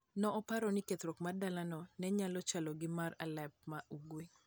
Ne oparo ni kethruok mar dalano ne nyalo chalo gi mar Aleppo ma Ugwe.